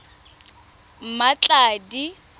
mmatladi